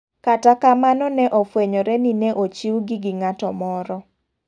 Kata kamano ne ofwenyore ni ne ochiw gi gi ng'ato moro.